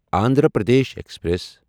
Andhra Pradesh express